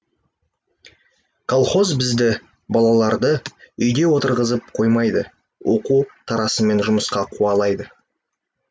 колхоз бізді балаларды үйде отырғызып қоймайды оқу тарасымен жұмысқа қуалайды